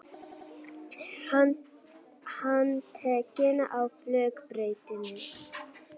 Handtekinn á flugbrautinni